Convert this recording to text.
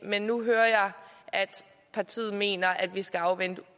men nu hører jeg at partiet mener at vi skal afvente